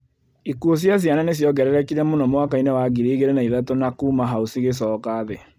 Ikuũ cia ciana nĩ cionngererekire mũno mwaka inĩ wa 2003 na kuuma hau cigĩcoka thĩ